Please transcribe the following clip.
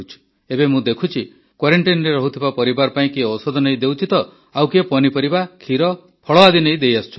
ଏବେ ମୁଁ ଦେଖୁଛି Quarantineରେ ରହୁଥିବା ପରିବାର ପାଇଁ କିଏ ଔଷଧ ନେଇ ଦେଉଛି ତ ଆଉ କିଏ ପନିପରିବା କ୍ଷୀର ଫଳ ଆଦି ନେଇ ଦେଇଆସୁଛନ୍ତି